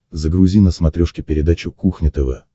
загрузи на смотрешке передачу кухня тв